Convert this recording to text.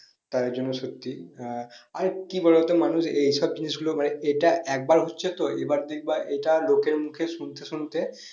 তাদের জন্য সত্যি আহ আর কি বলো তো মানুষ এইসব জিনিস গুলো মানে এটা একবার হচ্ছে তো এবার দেখব এটা লোকের মুখে শুনতে শুনতে